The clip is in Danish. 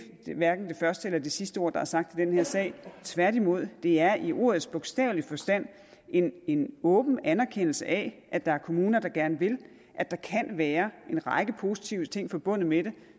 første eller det sidste ord der er sagt i den her sag tværtimod er det i ordets bogstaveligste forstand en en åben anerkendelse af at der er kommuner der gerne vil og at der kan være en række positive ting forbundet med det